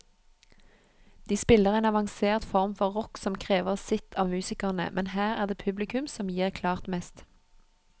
De spiller en avansert form for rock som krever sitt av musikerne, men her er det publikum som gir klart mest.